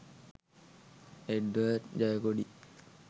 Edward Jayakody